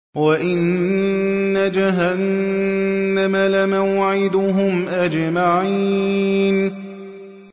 وَإِنَّ جَهَنَّمَ لَمَوْعِدُهُمْ أَجْمَعِينَ